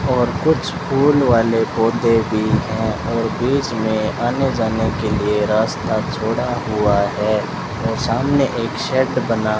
और कुछ फूल वाले पौधे भी हैं बीच में जाने के लिए रास्ता छोड़ा हुआ है और सामने एक शेड बना --